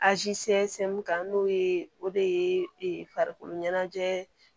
kan n'o ye o de ye farikolo ɲɛnajɛ